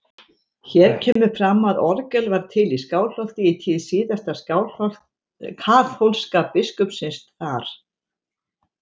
Hér kemur fram að orgel var til í Skálholti í tíð síðasta kaþólska biskupsins þar.